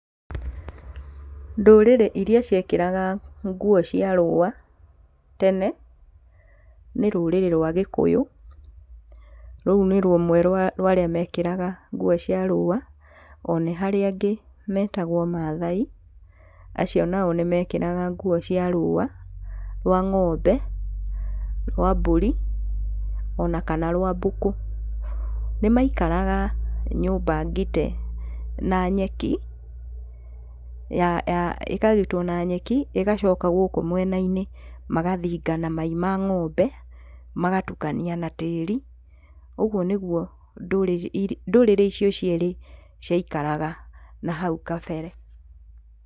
Ndũrĩrĩ iria ciekĩraga nguo cia rũũa tene, nĩ rũrĩrĩ rwa gĩkũyũ rũu nĩ rũmwe rwa rwa-arĩa mekĩraga nguũ cia rũũa, ona harĩ angĩ metagwo maathai, acio nao nĩmekĩraga nguũ cia rũũa rwa ngombe, rwa mbũri onakana rwa mbũkũ. Nĩmaikaraga nyũmba ngite na nyeki ĩkagitwo na nyeki ĩgacoka gũkũ mwena-inĩ magathiga na mai na ngombe magatukania na tĩĩri ũguũ niguũ ndurĩrĩ irĩ ndũrĩrĩ icio cierĩ ciaikaraga na hau kabere.